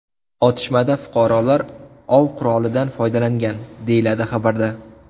Otishmada fuqarolar ov qurolidan foydalangan”, deyiladi xabarda.